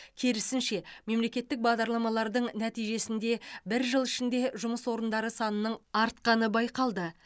керісінше мемлекеттік бағдарламалардың нәтижесінде бір жыл ішінде жұмыс орындары санының артқаны байқалды